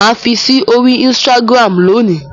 Mà á fi sí orí Instagram lónì.